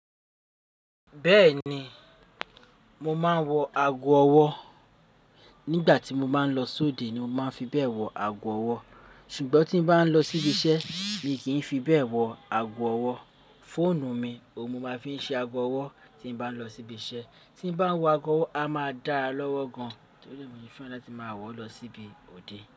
Bẹ́ẹ̀ni, mo máa ń wọ ago ọwọ́ nígbà tí mo bá ń lọ sóde ni mo máa ń fi bẹ́ẹ̀ wọ ago ọwọ́, ṣùgbọ́n tí bá ń lọ síbi iṣẹ́ mi kìí fi bẹ́ẹ̀ wọ ago ọwọ́. Fóònù mi òun mo máa ń fi ṣe ago ọwọ́ tí bá ń lọ síbi iṣẹ́. Tí ń bá wọ ago ọwọ́ a máa dá lọ́wọ́ gan tí ri ẹ́ mo ṣe fẹran láti máa wọ̀ lọ síbi òde.